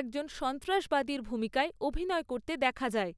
একজন সন্ত্রাসবাদীর ভূমিকায় অভিনয় করতে দেখা যায়।